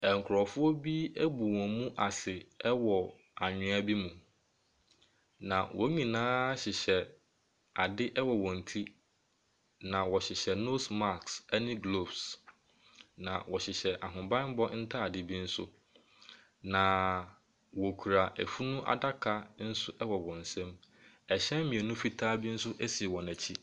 Ɛnkorɔfoɔ bi abu wɔn mu ase ɛwɔ anhwea bi mu, na wɔn nyinaa hyehyɛ ade ɛwɔ wɔn ti. Na wɔhyehyɛ nose mask ɛne glofes. Na wɔhyehyɛ ahobanbɔ ntade bi nso. Na wokura efunu adaka ɛwɔ nso wɔn nsɛm. Ɛhyɛn mienu fitaa bi nso esi wɔn akyi.